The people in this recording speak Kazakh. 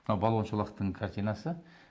мынау балуан шолақтың картинасы